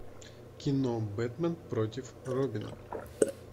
кино бэтмен против робина